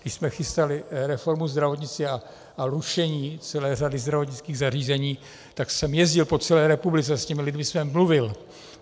Když jsme chystali reformu zdravotnictví a rušení celé řady zdravotnických zařízení, tak jsem jezdil po celé republice, s těmi lidmi jsem mluvil.